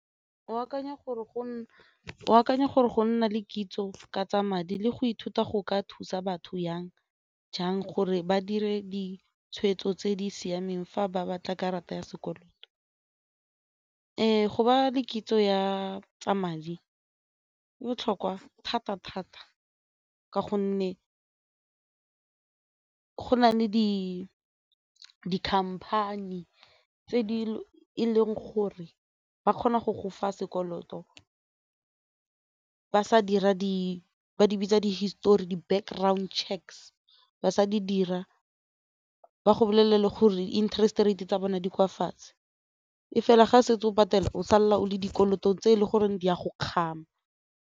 O akanya gore go nna le kitso ka tsa madi le go ithuta go ka thusa batho jang gore ba dire ditshweetso tse di siameng fa ba batla karata ya sekoloto. Go ba le kitso ya tsa madi e botlhokwa thata thata ka gonne go na le di-company tse e leng gore ba kgona go gofa sekoloto ba sa dira di ba di bitsa di-histori background checks ba sa di dira ba go bolelele gore interest rate tsa bone di kwa fatshe, e fela ga se ntse o patella o salela o le dikolotong tse e le goreng di a go kgama.